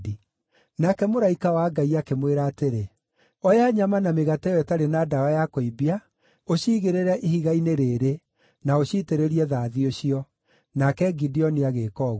Nake mũraika wa Ngai akĩmwĩra atĩrĩ, “Oya nyama na mĩgate ĩyo ĩtarĩ na ndawa ya kũimbia, ũciigĩrĩre ihiga-inĩ rĩĩrĩ, na ũciitĩrĩrie thathi ũcio.” Nake Gideoni agĩĩka ũguo.